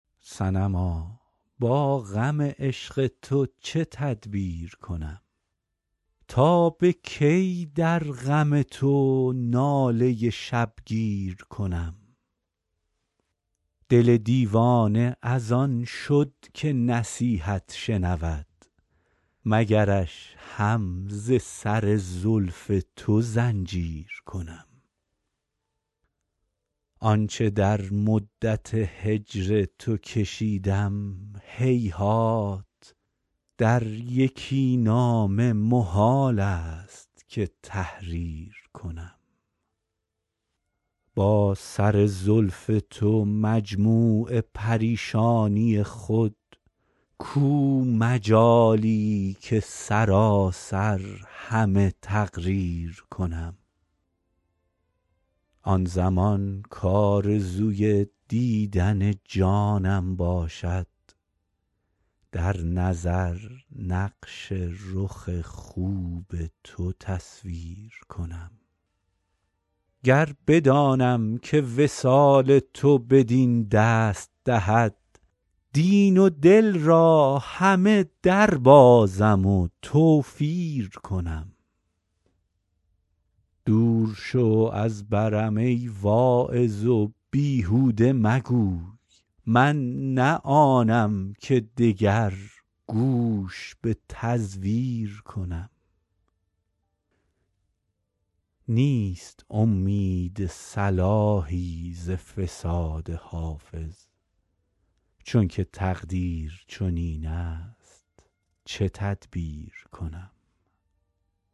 صنما با غم عشق تو چه تدبیر کنم تا به کی در غم تو ناله شبگیر کنم دل دیوانه از آن شد که نصیحت شنود مگرش هم ز سر زلف تو زنجیر کنم آن چه در مدت هجر تو کشیدم هیهات در یکی نامه محال است که تحریر کنم با سر زلف تو مجموع پریشانی خود کو مجالی که سراسر همه تقریر کنم آن زمان کآرزوی دیدن جانم باشد در نظر نقش رخ خوب تو تصویر کنم گر بدانم که وصال تو بدین دست دهد دین و دل را همه دربازم و توفیر کنم دور شو از برم ای واعظ و بیهوده مگوی من نه آنم که دگر گوش به تزویر کنم نیست امید صلاحی ز فساد حافظ چون که تقدیر چنین است چه تدبیر کنم